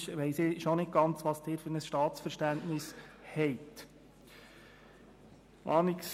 Manchmal weiss ich schon nicht, welches Staatsverständnis Sie haben.